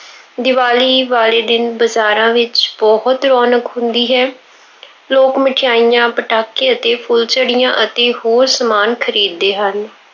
ਦੀਵਾਲੀ ਵਾਲੇ ਦਿਨ ਬਜ਼ਾਰਾਂ ਵਿੱਚ ਬਹੁਤ ਰੌਣਕ ਹੁੰਦੀ ਹੈ। ਲੋਕ ਮਠਿਆਈਆਂ, ਪਟਾਕੇ ਅਤੇ ਫੁੱਲਝੜੀਆਂ ਅਤੇ ਹੋਰ ਸਮਾਨ ਖਰੀਦਦੇ ਹਨ।